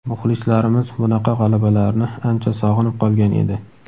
Muxlislarimiz bunaqa g‘alabalarni ancha sog‘inib qolgan edi.